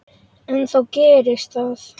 En þá gerðist það.